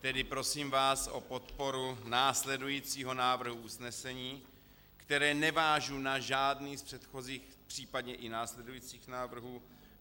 Tedy prosím vás o podporu následujícího návrhu usnesení, které nevážu na žádný z předchozích, případně i následujících návrhů.